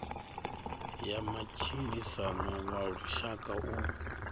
ya matshilisano wa lushaka u